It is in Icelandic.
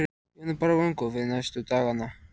Jóhanna: Og bara vongóð fyrir næstu dagana?